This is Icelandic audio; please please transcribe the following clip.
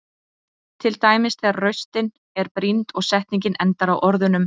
Til dæmis þegar raustin er brýnd og setning endar á orðunum.